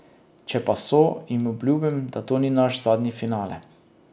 Če pa so, jim obljubim, da to ni naš zadnji finale.